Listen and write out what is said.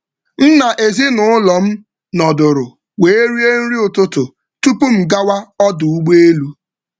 M na ezinụlọ m nọdụrụ wee rie nri ụtụtụ tupu m gawa ọdụ ụgbọ elu.